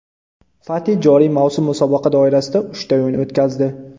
Fati joriy mavsum musobaqa doirasida uchta o‘yin o‘tkazdi.